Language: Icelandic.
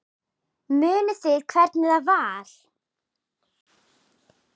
Munið þið hvernig það var?